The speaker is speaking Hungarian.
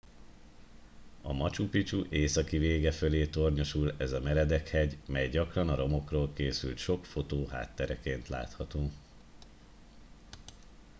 a machu picchu északi vége fölé tornyosul ez a meredek hegy mely gyakran a romokról készült sok fotó háttereként látható